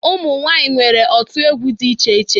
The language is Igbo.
Umụ nwanyị nwere otu egwu dị iche iche